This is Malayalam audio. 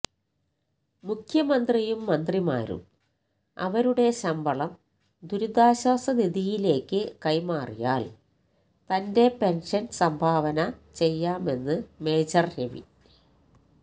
മുഖ്യമന്ത്രിയും മന്ത്രിമാരും അവരുടെ ശമ്പളം ദുരിതാശ്വാസ നിധിയിലേക്ക് കൈമാറിയാല് തന്റെ പെന്ഷന് സംഭാവന ചെയ്യാമെന്ന് മേജര് രവി